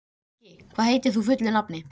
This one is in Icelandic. Maggi, hvað heitir þú fullu nafni?